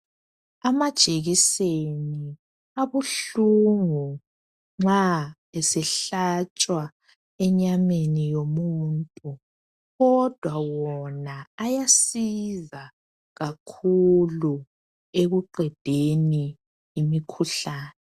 Amajekiseni abuhlungu nxa esehlatshwa enyameni yomuntu kodwa wona ayasiza kakhulu ekuqedeni imikhuhlane.